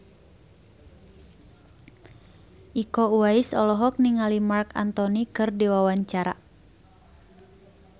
Iko Uwais olohok ningali Marc Anthony keur diwawancara